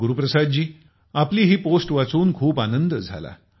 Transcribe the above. गुरुप्रसाद जी आपली ही पोस्ट वाचून खूप आनंद झाला